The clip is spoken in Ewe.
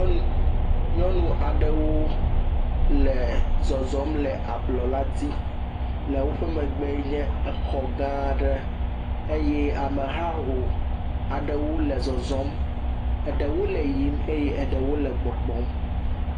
Nyɔnu aɖewo le zɔzɔm le ablɔ la di, eye le woƒe megbe enye exɔ gaãɖe, eye amehaho aɖewo le zɔzɔm, eɖewo le yiyim, eye eɖewo le gbɔgbɔm.